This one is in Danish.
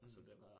Mh